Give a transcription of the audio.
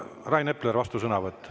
Rain Epler, vastusõnavõtt.